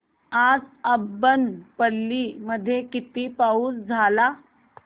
आज अब्बनपल्ली मध्ये किती पाऊस झाला